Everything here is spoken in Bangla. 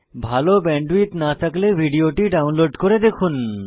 ভাল ব্যান্ডউইডথ না থাকলে ভিডিওটি ডাউনলোড করে দেখুন